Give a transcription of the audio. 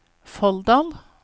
Folldal